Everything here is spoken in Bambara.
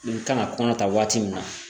Nin kan ka kɔnɔ ta waati min na